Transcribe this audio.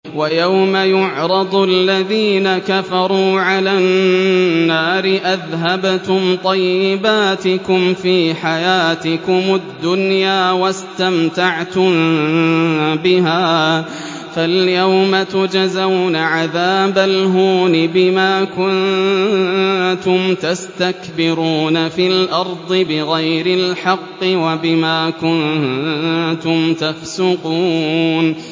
وَيَوْمَ يُعْرَضُ الَّذِينَ كَفَرُوا عَلَى النَّارِ أَذْهَبْتُمْ طَيِّبَاتِكُمْ فِي حَيَاتِكُمُ الدُّنْيَا وَاسْتَمْتَعْتُم بِهَا فَالْيَوْمَ تُجْزَوْنَ عَذَابَ الْهُونِ بِمَا كُنتُمْ تَسْتَكْبِرُونَ فِي الْأَرْضِ بِغَيْرِ الْحَقِّ وَبِمَا كُنتُمْ تَفْسُقُونَ